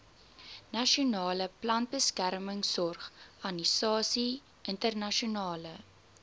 nasionale plantbeskermingsorganisasie internasionale